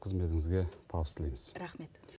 қызметіңізге табыс тілейміз рахмет